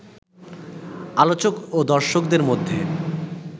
আলোচক ও দর্শকদের মধ্যে